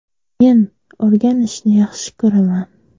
Men o‘rganishni yaxshi ko‘raman.